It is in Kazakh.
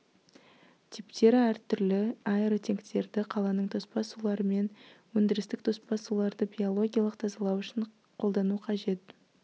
типтері әртүрлі аэротенктерді қаланың тоспа сулары мен өндірістік тоспа суларды биологиялық тазалау үшін қолдану қажет